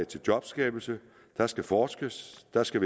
til jobskabelse der skal forskes der skal